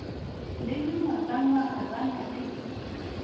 le mengwagangwaga ba na le